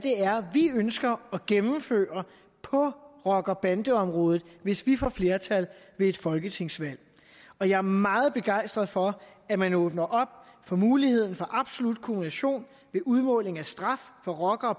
vi ønsker at gennemføre på rocker bande området hvis vi får flertal ved et folketingsvalg og jeg er meget begejstret for at man åbner op for muligheden for absolut kumulation ved udmålingen af straf for rocker